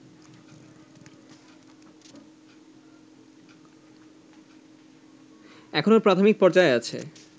এখনো প্রাথমিক পর্যায়ে আছে